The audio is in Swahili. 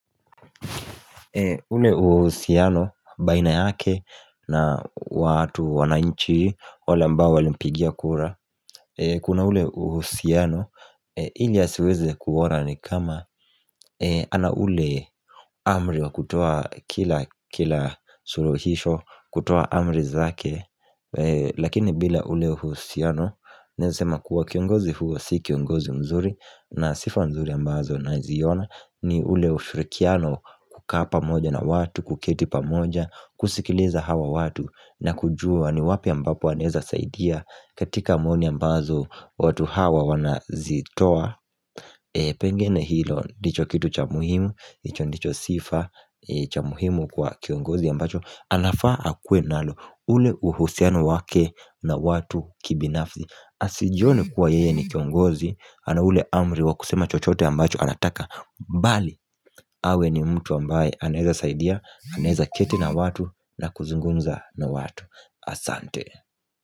Ule uhusiano baina yake na watu wananchi wale ambao walimpigia kura. Ee kuna ule uhusiano ili asiweze kuona ni kama eeh ana ule amri wa kutoa kila suluhisho kutoa amri zake Lakini bila ule uhusiano naeza sema kuwa kiongozi huyu si kiongozi mzuri na sifa nzuri ambazo naziona ni ule ufirikiano kukaa pamoja na watu, kuketi pamoja, kusikiliza hawa watu na kujua ni wapi ambapo anaeza saidia katika maoni ambazo watu hawa wanazitoa Pengine hilo ndicho kitu cha muhimu. Hicho ndicho sifa cha muhimu kwa kiongozi ambacho anafaa akuwe nalo. Ule uhusiano wake na watu kibinafsi, asijone kwa yeye ni kiongozi ana ule amri wa kusema chochote ambacho nataka bali awe ni mtu ambaye anaeza saidia, anaweza keti na watu na kuzungumza na watu. Asante.